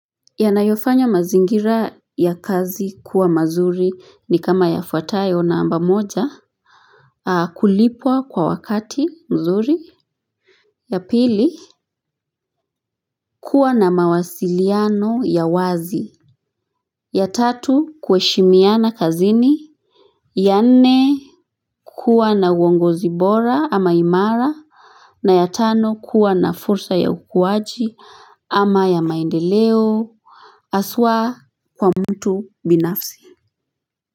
Yanayofanya mazingira ya kazi kuwa mazuri ni kama yafuatayo namba moja Kulipwa kwa wakati mzuri ya pili kuwa na mawasiliano ya wazi ya tatu kuheshimiana kazini ya nne kuwa na uongozi bora ama imara na ya tano kuwa na fursa ya ukuaji ama ya maendeleo haswa kwa mtu binafsi.